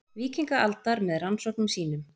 Víkingaaldar með rannsóknum sínum.